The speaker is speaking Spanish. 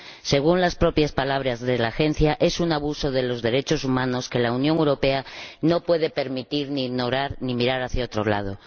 Según las propias palabras de la Agencia, es un abuso de los derechos humanos que la Unión Europea no puede permitir ni ignorar, ni puede mirar hacia otro lado.